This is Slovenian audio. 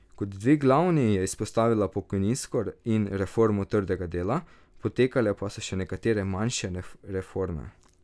Kot dve glavni je izpostavila pokojninsko in reformo trga dela, potekale pa so še nekatere manjše reforme.